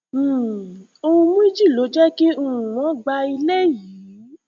um ohun méjì ló jẹ kí um wọn gba ilé yìí